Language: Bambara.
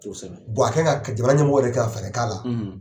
a ka kan ka jamana ɲɛmɔgɔw yɛrɛ ka kan ka fɛɛrɛ k'a la.